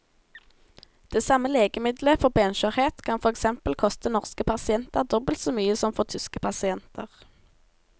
Det samme legemiddelet for benskjørhet kan for eksempel koste norske pasienter dobbelt så mye som for tyske pasienter.